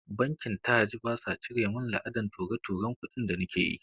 Bankin taj basa cire min la'adan ture-turen kudi da nake yi